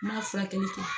N ma furakɛli kɛ